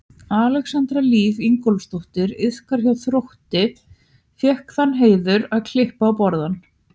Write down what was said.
Alexandra Líf Ingþórsdóttir iðkandi hjá Þrótti fékk þann heiður að klippa á borðann.